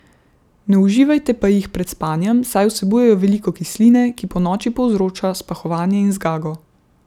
Ne uživajte pa jih pred spanjem, saj vsebujejo veliko kisline, ki ponoči povzroča spahovanje in zgago.